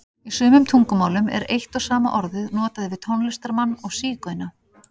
Í sumum tungumálum er eitt og sama orðið notað yfir tónlistarmann og sígauna.